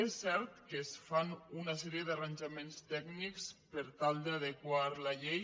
és cert que es fan una sèrie d’arranjaments tècnics per tal d’adequar la llei